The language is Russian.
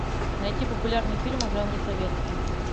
найти популярные фильмы в жанре советский